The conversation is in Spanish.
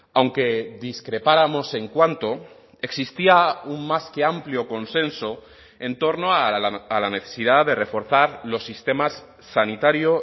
aunque discrepáramos en cuánto existía un más que amplio consenso en torno a la necesidad de reforzar los sistemas sanitario